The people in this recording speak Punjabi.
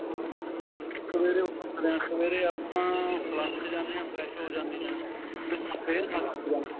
ਸਵੇਰੇ ਉੱਠਦੇ ਆ ਸਵੇਰੇ ਆਪਾਂ ਫਲਸ ਜਾਂਦੇ ਆ fresh ਹੋ ਜਾਂਦੇ ਆ